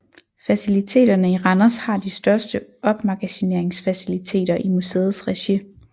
Faciliteterne i Randers har de største opmagasineringsfaciliteter i museets regi